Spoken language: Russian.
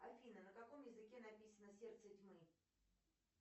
афина на каком языке написано сердце тьмы